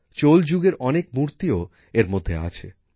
চোল যুগের অনেক মূর্তিও এর মধ্যে আছে